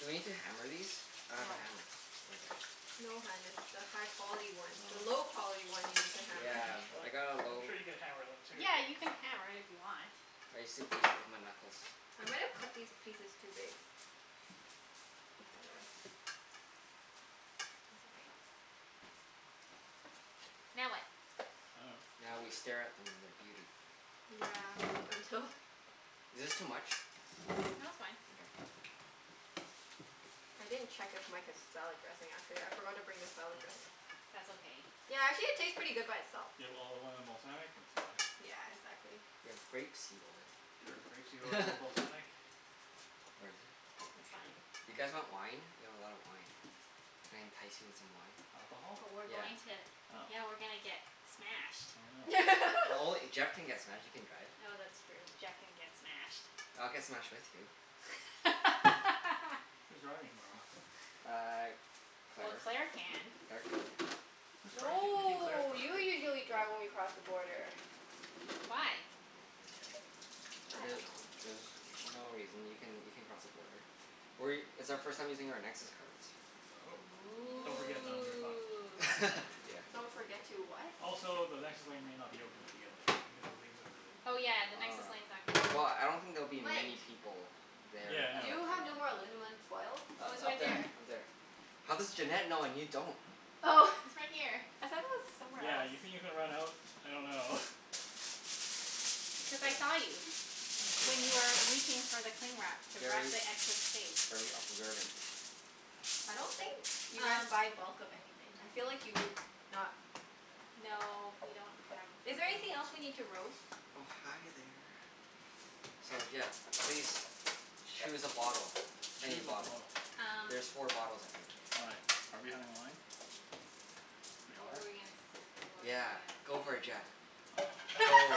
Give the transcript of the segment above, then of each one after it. Do we need to hammer these? I have a No. hammer. Okay. No hun, it's the high quality one. The low Oh. quality one you need to hammer. Yeah. What? I got a I'm low sure you could hammer them too. Yeah, you can hammer it if you want. I used to beat it with my knuckles. I might've cut these pieces too big. Oh, whatever. That's okay. Now what? I dunno. Now we stare at them in their beauty. Yeah, until Is this too much? No, it's fine. Okay. Cool. I didn't check if Mike has salad dressing, actually. I forgot to bring the salad dressing. That's okay. Yeah, actually it tastes pretty good by itself. You have olive oil and balsamic? That's enough. Yeah, exactly. We have grape seed oil. Sure. Grape seed oil and balsamic. Where is it? I'm not It's fine. sure. You guys want wine? We have a lot of wine. Can I entice you in some wine? Alcohol? But we're Yeah. going to Oh. Yeah, we're gonna get smashed. Oh no. No only, Jeff can get smashed. You can drive. Oh, that's true. Jeff can get smashed. I'll get smashed with you. Who's driving tomorrow? Uh, Well, Claire. Claire can. Claire can. Whose car are you taki- you're taking Claire's No, car, you right? usually Yeah. drive when we cross the border. Why? I don't The- know. there's no reason. You can you can cross the border. We, it's our first time using our Nexus cards. Oh. Don't forget them, Yeah. you're fucked. Ooh. Yeah. Don't forget to what? Also, the Nexus lane may not be open when you get there because you're leaving so early. Oh yeah, the Nexus Ah. lane's not gonna be Well, open. I don't think there'll be Mike. many people there Yeah, at Do no. you that time. have no more alunamin foil? Oh, it's U- up right there. there. Up there. How does Junette know and you don't? Oh! It's right here. I thought it was somewhere Yeah, else. you think you're gonna run out? I dunno. Because I S- saw you. I see. When you were reaching for the cling wrap to wrap Very the excess steak. very observant. I don't think you guys Um buy bulk of anything. I feel like you would not. No, we don't have Is there room. anything else we need to roast? Oh, hi there. So yeah, please choose a bottle. Any Choose a bottle. bottle. Um There's four bottles, I think. Why? Are we having wine? We What are? were we gonna s- what was I Yeah, go for it gonna say? Jeff. Oh. Go.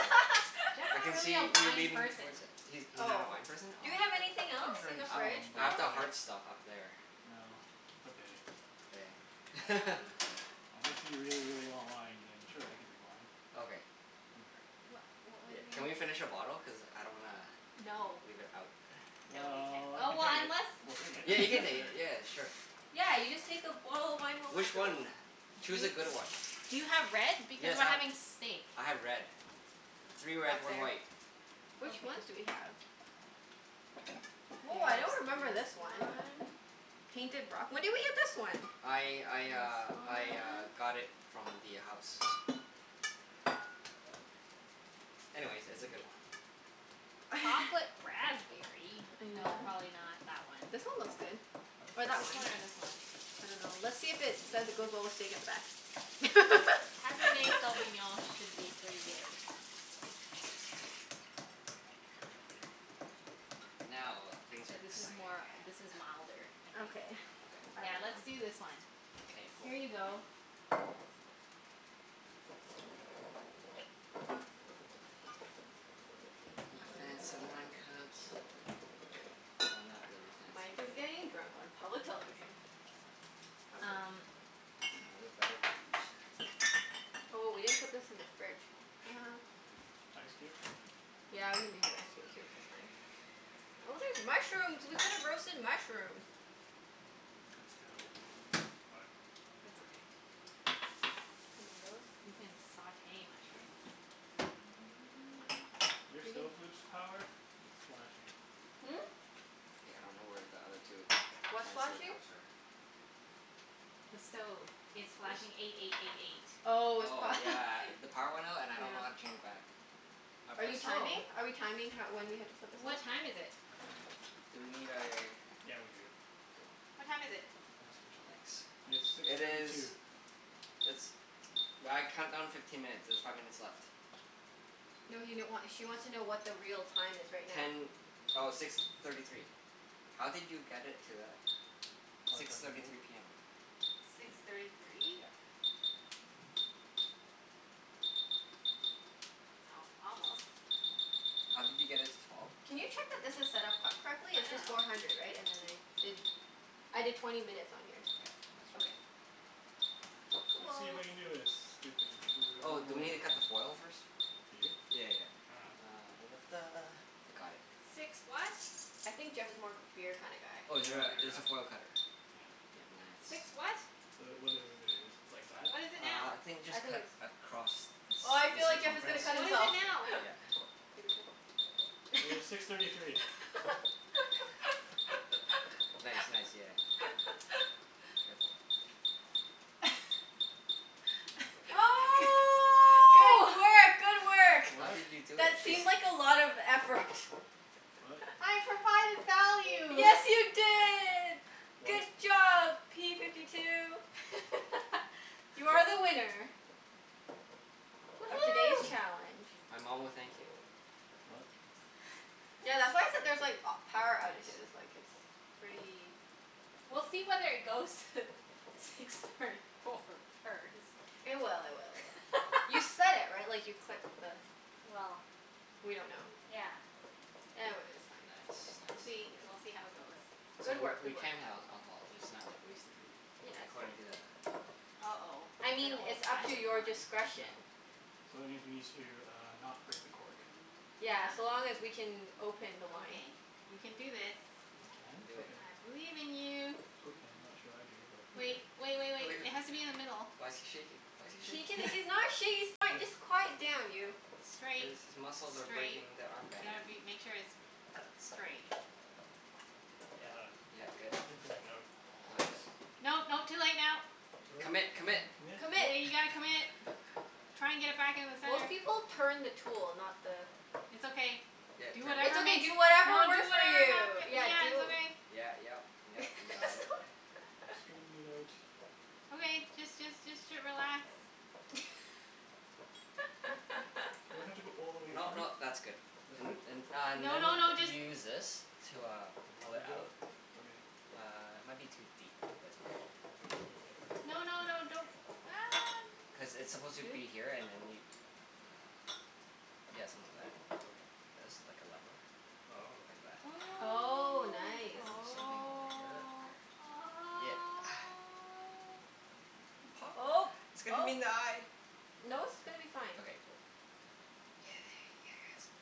Jeff's I not can really a see you wine leaning person. towards it. He's he's not a Oh. wine person? Do we Oh. have anything I else in drink the I fridge, some, I have though? but the like hard stuff up there. No, it's okay. K. Um Unless you really, really want wine, then sure, I can drink wine. Okay. I don't care. What what was Yeah, can we I finish a bottle? Cuz I don't wanna No. leave it out. No, we can't. Well, Oh, we can well take it. unless We'll take Yeah, you can it. take it. Yeah, sure. Yeah, you just Oh. take the bottle of wine home Which afterwards. one? Do Choose you a good one. Do you have red? Because Yes, we're I've, having steak. I have red. Three red, Back one there. white. Which ones Okay. do we have? Woah, I don't remember this one. Painted Rock? When did we get this one? I I uh This I uh one. got it from the house. Anyways, it's a good one. Chocolate raspberry? No, Yeah. probably not that one. This one looks good. Or that one. This one or this one? I dunno. Let's see if it says it goes well with steak at the back. Cabernet Sauvignon should be pretty good. Now, things are Yeah, this is exciting. more, this is milder, I think. Okay. I Yeah, let's dunno. do this one. Okay. K, cool. Here you go. Okay. My fancy wine cups. Oh, not really fancy Mike is really. getting drunk on public television. How great. Um Oh, they're better cups. Oh, we didn't put this in the fridge. Shoot. Ice cube? Yeah, we needed ice c- cubes. That's fine. Oh, there's mushrooms. We could've roasted mushrooms. Could still, but That's okay. Tomatoes. You can sauté mushrooms. Your We can stove lose power? It's flashing. Hmm? K, I don't know where the other two What's fancier flashing? cups are. The stove. It's This? flashing eight eight eight eight. Oh, it's Oh, pro- yeah. The power went out and I don't know how to Yeah. change it back. I Are you press timing? Oh. Are we timing ho- when we have to put this on? What time is it? Do we need a Yeah, we do. Cool. What time is it? Not a screw top. Nice. It's six It thirty two. is it's, well, I count down fifteen minutes. There's five minutes left. No he n- wa- she wants to know what the real time is right now. Ten, oh, six thirty three. How did you get it to that? Probably Six press and thirty hold? three p m. Six thirty three? Yeah. Oh, almost. How did you get it to twelve? Can you check that this is set up co- I correctly? It's just dunno. four hundred, right? And then I did, I did twenty minutes on here. Yeah. Yeah. That's Okay. okay. Let's see if Cool. I can do this. Doo doo doo doo doo. Oh, do we need to cut the foil first? Do you? Yeah yeah yeah. I dunno. Ah da da da. I got it. I think Jeff is more of a beer kinda guy. Oh, is Yeah, there I'm a a, beer there's guy. a foil cutter. Yeah. Yeah, nice. The, what does this do, just like that? Uh, I think just I think cut it's across the Oh, I ci- the feel like Jeff is Oh, gonna circumference? cut himself. okay. Yeah. It was six Yeah, thirty three. be Nice, careful. nice. Yeah. There ya go. Careful. G- I don't know if I cut it right. Oh! good work! Good work! How What? did you do it? That It seemed just like a lot of effort. What? I provided value! Yes, you did! Good What? job, p fifty two! You are the winner. Of today's Woohoo! challenge. My mom will thank you. What? Tha- that's why I said there's like a- power Nice. outages, like it's pretty We'll see whether it goes to six thirty four first. It will, it will, it will. You set it, right? Like, you clicked the Well We don't know. Yeah. E- w- it's fine. Nice, We'll see, nice. we'll see how it goes. So Good w- work. we Good work. can have alcohol, just not like, wasted, right? Yeah, it's According to fine. the uh-oh. I It's an mean, old it's up to fashioned your one. No. discretion. So it means we need to uh, not break the cork. Yeah. Yeah, so long as we can open the wine. Okay. You can do this. I can? You can do it. Okay. I believe in you. Okay. I'm not sure I do, but okay. Wait, wait wait wait. It has to be in the middle. Why's he shaking? Why's he He can, shaking? he's not sha- he's Let's fine, do this. just quiet down, you. Straight. His his muscles are Straight. breaking the arm You band. gotta be, make sure it's straight. Yeah. Ah, Yeah, good. and going Oh, outwards. is it? No, no. Too late now. Too late? Commit! Commit! Commit? Commit? Commit. Yeah, you gotta commit. Try and get it back in the Most center. people turn the tool, not the It's okay. Yeah, it Do turns. It's whatever okay, makes do you, whatever don't do, it works for won't you. happen. Turn the Yeah, cork. Yeah, do it's okay. Yeah, yep, yep, you got it. Straightening it out. Okay, just just just t- relax. Do I have to go all the way No through? no, that's good. That's And good? and uh No no then no, you just use this to uh, pull it Leverage out? out. Okay. Uh, it might be too deep, but it's okay. No no no, don't. Ah, Cuz n- it's supposed to Really? be here and then you uh, yeah, something like that. Okay. This. Like a level. Oh. Like that. Oh. Oh, And nice. then same thing over here. Oh. Oh. Yeah. Oh, Pop. It's gonna hit him oh. in the eye. No, it's gonna be fine. Okay, cool.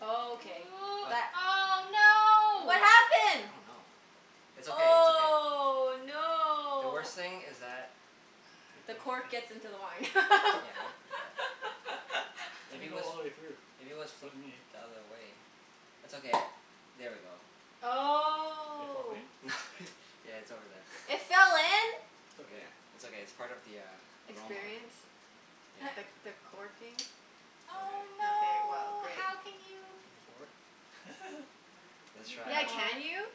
Oh, okay Ooh. What that Oh, What no! I happened? don't know. It's okay. It's okay. Oh, The no! worst thing is that It The goes cork in. gets into the wine. Yeah, how did that I Maybe didn't it go was, all the way through. maybe it was This flipped wasn't the me. other way? It's okay, I'll, there we go. It fall Oh. in? Yeah, it's over there. It fell in? It's okay. Yeah. It's okay. It's part of the uh, aroma. Experience? Experience. The Yeah. Sure. the corking? Okay. Oh, Okay, well no! great. How can you Can you pour? Let's You can Yeah, try. pour. can you?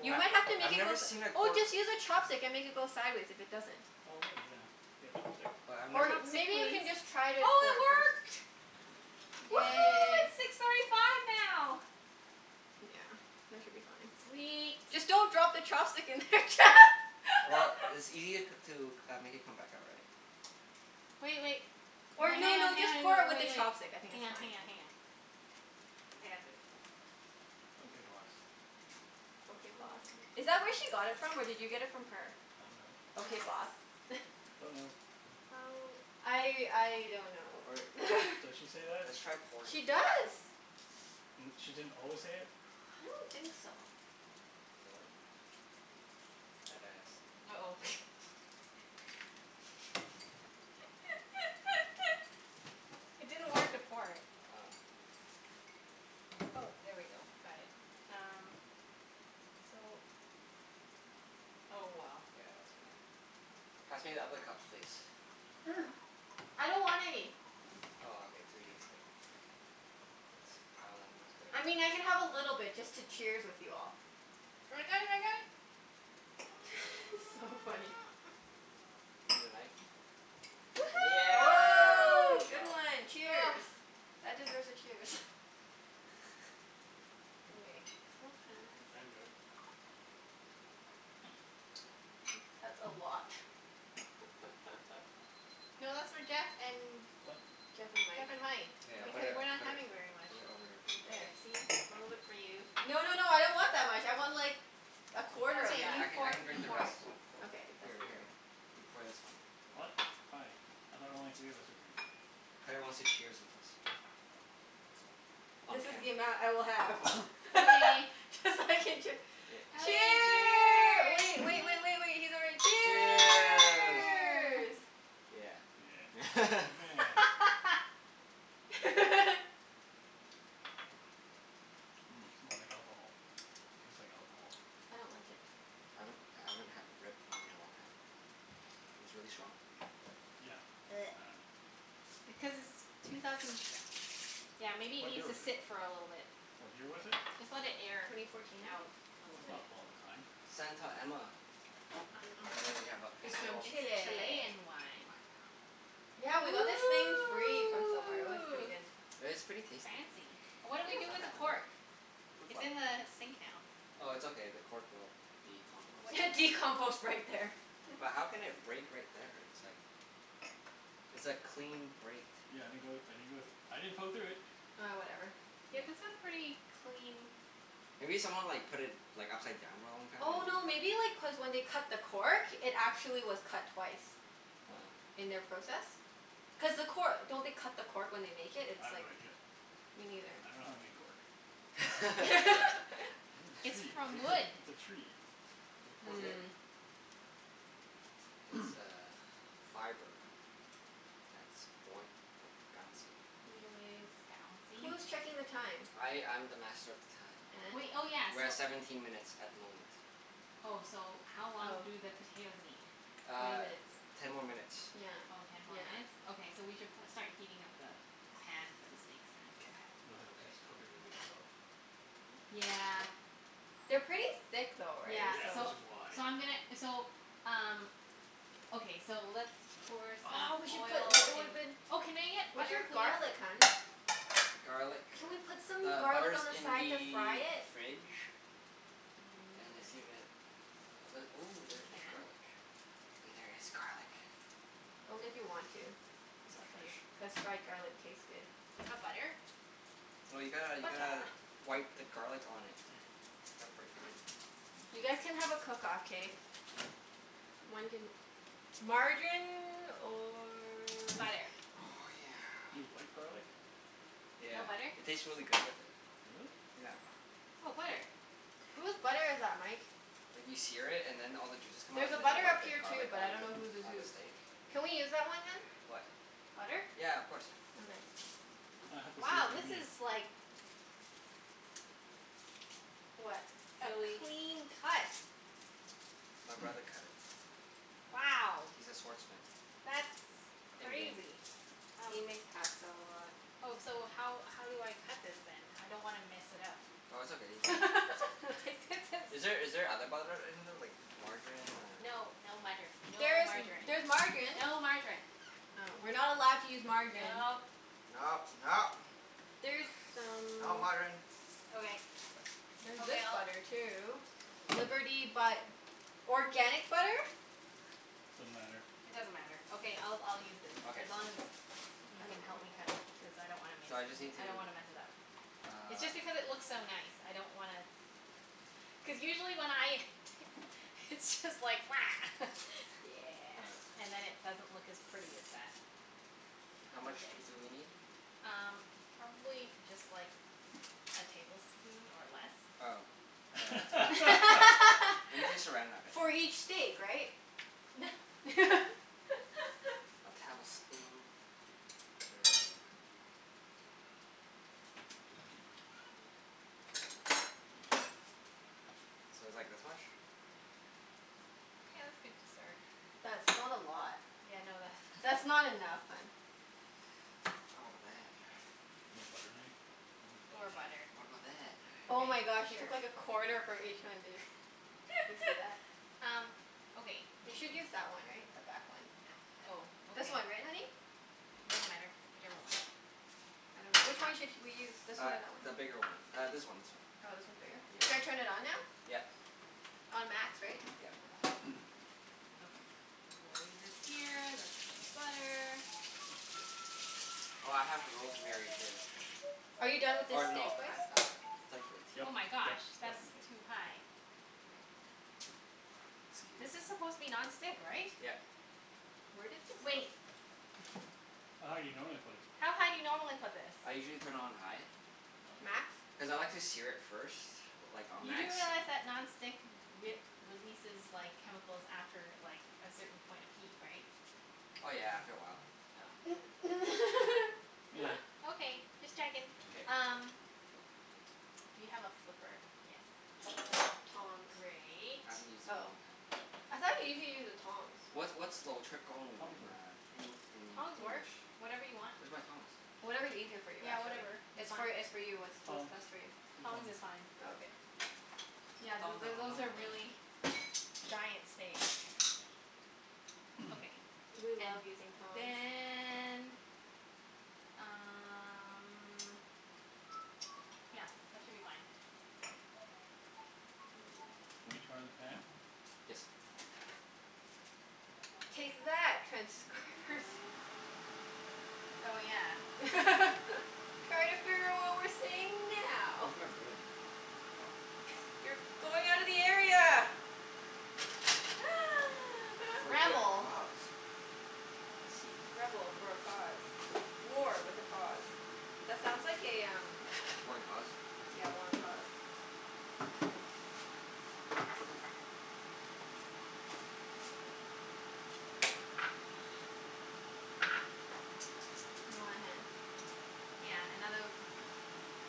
You I might have to make I've it go never s- seen a oh, cork just use a chopstick and make it go sideways if it doesn't. Oh maybe, yeah. You got a chopstick? But I've never Or, s- Say maybe you please. can just try to Oh, pour it it first. work! Woohoo, Yay! it's six thirty five now! Yeah, that should be fine. Sweet. Just don't drop the chopstick in there. Well, it's ea- to c- uh, make it come back out, right? Wait wait. Or Hang no hang on, no, just hang pour on it and with the wait wait. chopstick. I think Hang it's on, fine. hang on, hang on. I got this. Okay boss. Okay, boss. Is that where she got it from or did you get it from her? I dunno. Okay, No. boss? Don't know. Oh. I I don't know Or or Does she does she say that? let's try pouring it She first. does. N- she didn't always say it? I don't think so. Does it work? At a s- uh-oh. It didn't work to pour it. Oh. Oh, there we go. Got it. Yeah. Um, so Oh well. Yeah, that's gonna Pass me the other cups, please. I don't want any. Oh, okay. Three is good. Thanks. That one is good? I mean, I can have a little bit just to cheers with you all. I got it, I got it. So funny. Need a knife? Woohoo! Oh, Good good job. one! Cheers! That deserves a cheers. Okay. Smells kinda I nice. didn't do it. Hmm, that's a lot. No, that's for Jeff and What? Jeff and Mike. Jeff and Mike. K, I'll put Because it, No. we're Okay. not put it, having very much. put it over here. There, Okay. see? A little bit for you. No no no, I don't want that much. I want like a quarter It's of Okay, okay. you I that. can I pour it. can You drink the pour it. rest. Okay, that's Here for you. here, you pour this one. What? Hi. I thought only three of us were drinking. Claire wants to cheers with us. Oh. On This is cam- the amount I will have. Okay. Cuz I can chee- Yay. Okay, Cheer, wait cheers! wait wait wait wait, he's not ready. Cheers. Cheers! Cheer! Yeah. Yeah. Meh. Mmm, smells like alcohol. Tastes like alcohol. I don't like it. I haven't, I haven't had red wine in a long time. It's really strong. Yeah, I dunno. Because it's two thousand Yeah, maybe it What year needs to was it? sit for a little bit. What year was it? Just let it air Twenty fourteen, I out. think? A Is little That's it? bit. not a long time. Santa Emma. I dunno. And then we have a It's from little It's Chile. Chilean wine. Yeah, we got this thing free from somewhere. It was pretty Ooh! good. It's pretty tasty. Fancy. What do Yeah, we it's do not with the bad. cork? Okay. Fruit It's fly. in the sink now. Oh, it's okay. The cork will be composted. What Decompost right there. But how can it break right there? It's like It's a clean break, too. Yeah, I didn't go I didn't go thr- I didn't poke through it. Ah, whatever. Yeah, Yeah. this a pretty clean Maybe someone like put it like upside down for a long time? Oh, no maybe like cuz when they cut the cork it actually was cut twice. What? Oh. In their process. Cuz the cor- don't they cut the cork when they make it? I It's have no like idea. Me neither. I dunno how they make cork. It's in a It's tree, from right? wood. It's a tree. It's a Is cork tree. it? Hmm. It's uh fiber. That's boy- like, bouncy. Anyways. Bouncy? Who's checking the time? I I'm the master of the time. Wait, And? oh yeah, We're so at seventeen minutes at the moment. Oh, so how long Oh. do the potatoes need? Twenty Uh, minutes. ten more minutes. Yeah. Oh, ten more Yeah. minutes? Okay, so we should pro- start heating up the pan for the steaks, then. K. just cook it really slow. Yeah. They're pretty thick though, right? Yeah, Yeah, So so which is why. so I'm gonna, so um Okay, so let's pour Oh, we some should put oil l- it in woulda been Oh, can I get Where's butter your please? garlic, hun? Garlic, Can we put some the garlic on butter's the in side to fry the it? fridge. Mm, And it's see too if it, ooh, We there is can. garlic. Wait, there is garlic. Only if you want to. Is Just it a few. fresh? Cuz fried garlic tastes good. Do you have butter? No, you gotta you gotta Buttah. wipe the garlic on it. Gotta break in. You guys can have a cook off, k? One can, margarine or Butter. Oh yeah. You wipe garlic? Yeah. No butter? It tastes really good with it. Really? Yeah. Oh, butter. Whose butter is that, Mike? Like, you sear it and then all the juices come out, There's a and then you butter wipe up the here too, garlic but I on don't know whose is on the whose. steak. Can we use that one, hun? What? Butter? Yeah, of course. Okay. I have to see what Wow, you this mean. is like What? a Really clean cut. My brother cut it. Wow. He's a sword smith. That's In game. crazy. Um He makes pasta a lot. Oh, so how how do I cut this then? I don't wanna mess it up. Oh, it's okay. You can Like, this Is there is is there other butter in there, like margarine or No, no mutter. No There is m- margarine. there's margarine. No margarine. Oh. We're not allowed to use margarine. Nope. No, no! There's Not some margarine. Okay. There's Okay, this I'll butter too. Liberty but organic butter? Doesn't matter. It doesn't matter. Okay, I'll I'll use this. Okay, As long sounds as good. you I can don't know. help me cut it. Because I don't wanna miss So I just n- need I don't to wanna mess it up. It's just Uh. because it looks so nice. I don't wanna Cuz usually when I t- it's just like Yeah. Uh. And then it doesn't look as pretty as that. How That's much okay. do do we need? Um, probably just like a tablespoon, or less. Oh, yeah, that's okay. We need to Saran Wrap it For anyway. each steak, right? A tablespoon. Sure. So it's like this much? Yeah, that's good to start. That's not a lot. Yeah, no That's that's not not enough, hun. Oh, but that You have butter knife? You could use Poor butter knife. butter. What about that? Oh my gosh, Okay, you sure. took like a corner from each one, dude. Do you see that? Um, okay You th- should use that one, right? The back one. Oh, okay. This one, right honey? It doesn't matter. Whichever one. I dunno. Which one should sh- we use? This one Uh, or that one? the bigger one. Uh, this one, this one. Oh, this one's bigger? Yeah, Should yeah. I turn it on now? Yeah. On max, right? Yeah. Okay. We'll leave this here. That's for the butter. Oh, I have rosemary too. Are you done with this Or steak no, I have spice? uh, starts with a t. Oh Yep my gosh, yep yep. that's Mkay. too high. Okay. This Scuse. is supposed to be non-stick, right? Yep. Where did this of- Wait. How high you normally put it? How high do you normally put this? I usually turn it on high Oh. Max? cuz I like to sear it first. Like on You do max. realize that non-stick w- we- releases like, chemicals after like, a certain point of heat, right? Oh yeah, after a while. Oh, okay. Meh. Okay, just checking. K. Um Do you have a flipper? Yes. Tongs. Great. I haven't used it in a Oh, long time. I thought usually you use the tongs? What's what's in uh Tongs work. En- in Tongs work. English? Whatever you want. Where's my tongs? Whatever's easier for you, Yeah, actually. whatever. It's It's fine. for, it's for you. It's what's Tongs. best for you. Use Tongs tongs. is fine. Oh, okay. Yeah, Tong th- to- th- tong those tong are tong. really giant steak. Okay. We And love using tongs. then um Yeah, that should be fine. Mmm. Wanna turn on the fan? Yes. Take that, transcribers. Oh yeah. Try to figure out what we're saying now. Where's my broom? Oh. You're going outta the area! For a good Rebel. cause. I see. Rebel for a cause. War with a cause. That sounds like a um War and cause? Yeah, war and cause. You want a hand? Yeah, another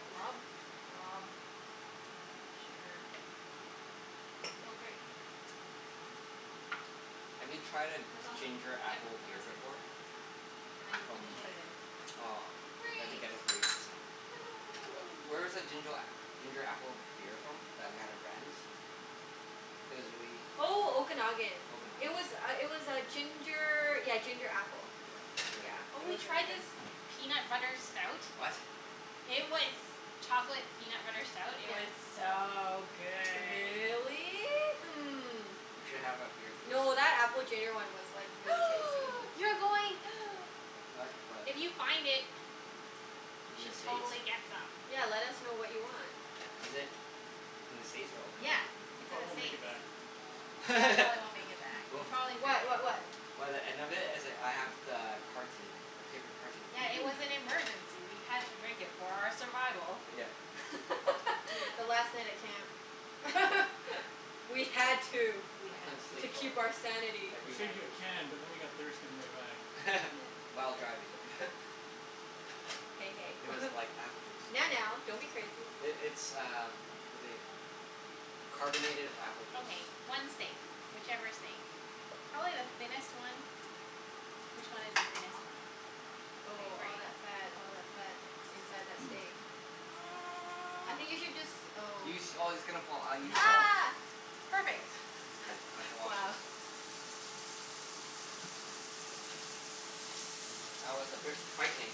Glub? glob. Sure. Oh, great. Have you tried a That's awesome. ginger Yep. apple No, beer that's good. before? And then you From, can just No. put it in. aw, we have to Great. get it for you next time. Wh- Woohoo. where's the ginger a- ginger apple beer from, that we had at Brandi's? It was really Oh, Okanagan. It Okanagan? was uh it was uh ginger, yeah ginger apple. Yeah. Really Yeah, good. Oh, it we was really tried Hmm. this good. peanut butter stout. What? It was chocolate peanut butter stout. It was Yeah. so good. Really? Hmm. We should have a beer tasting. No, that apple ginger one was like, really tasty. You're going What? What? If you find it we In the should States? totally get some. Yeah, let us know what you want. Is it in the States or Yeah, Okanagan? It it's in the probably won't make States. it back. Yeah, it probably won't make it back. You'll Oh. probably drink What? it. What what? By the end of it, it's like I have the carton. The paper carton for Yeah, it you. was an emergency. We had to drink it for our survival. Yeah. Yeah, the last night at camp. We had to. We I had couldn't To sleep to. for, keep our sanity. We every saved night. you a can but then we got thirsty on the way back. While driving. Hey, It was hey. like apple juice. Now, now, don't be crazy. I- it's uh what they, carbonated apple juice. Okay, one steak. Whichever steak. Probably the thinnest one. Which one is the thinnest one? Okay, Oh, great. all that fat, all that fat K. inside that steak. I think you should jus- oh. You sh- oh, it's gonna fall. Uh, you Use the tongs. sh- Ah! Perfect. Okay. I shall wash Wow. this. That was a bit frightening.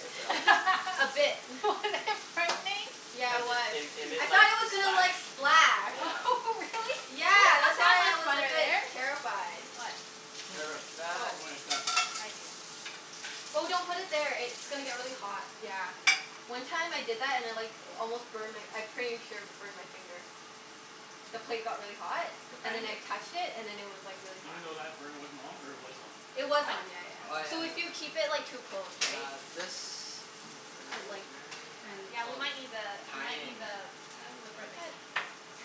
With a A bit. Was it frightening? Yeah, Cuz it it was. it it I it like thought it was gonna splash like, splash. Yeah. Really? Yeah, that's why I was a bit terrified. What? It's clean plate. Terrified. Oh, For when it's done. I see. Oh, don't put it there. It's gonna get really hot. Yeah. One time I did that and I like almost burned my, I pretty sure burned my finger. The plate got really hot Your and then fan I did. touched it, and then it was like really hot. Even though that burner wasn't on, or it was on? It was What? on, yeah yeah Oh, Oh yeah. yeah, So I okay. if you know. keep it like too close, And right? uh this. Is it But like rosemary that tran- I, Yeah, we oh, might need the, we might thyme. need the flipper I thought thingie. Thyme